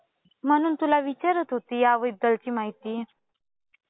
म्हणून तुला विचारत होती याबद्दलची माहिती.